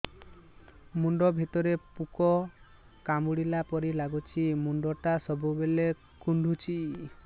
ମୁଣ୍ଡ ଭିତରେ ପୁକ କାମୁଡ଼ିଲା ପରି ଲାଗୁଛି ମୁଣ୍ଡ ଟା ସବୁବେଳେ କୁଣ୍ଡୁଚି